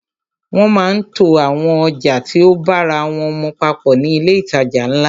Wọ́n máa ń to àwọn ọjà tí o bára wọ́n mu papọ̀ ní ilé ìtajà ńlá.